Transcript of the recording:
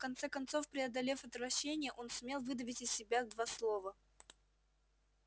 в конце концов преодолев отвращение он сумел выдавить из себя два слова